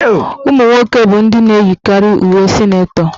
Ụmụnwoke bụ ndị na-eyikarị uwe sịnetọ.